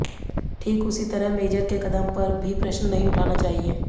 ठीक उसी तरह मेजर के क़दम पर भी प्रश्न नहीं उठाना चाहिए